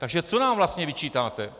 Tak co nám vlastně vyčítáte?